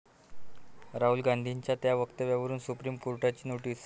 राहुल गांधींच्या त्या वक्तव्यावर सुप्रीम कोर्टाची नोटीस